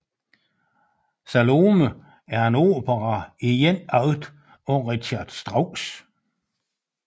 Salome er en opera i én akt af Richard Strauss